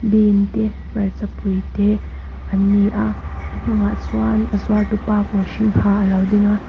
bean te hmarchapui te an ni a a chungah chuan a zuartupa kawr hring ha a lo ding a.